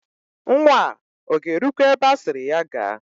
Nwa a ọ ga-erukwa ebe asịrị ya gaa?